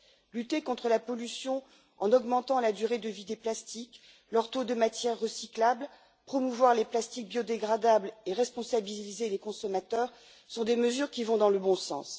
Lutter contre la pollution en augmentant la durée de vie des plastiques et la teneur de ceux ci en matières recyclables, promouvoir les plastiques biodégradables et responsabiliser les consommateurs sont des mesures qui vont dans le bon sens.